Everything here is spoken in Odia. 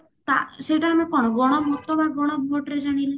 ତା ସେଇଟା ଆମେ କଣ ଗଣ ମତ ବା ଗଣ vote ରେ ଜାଣିଲେ